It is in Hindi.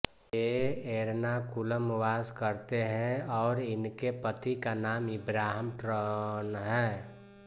ये एर्नाकुलम वास करते हैं और इनके पति का नाम इब्राहीम ट्रॅन है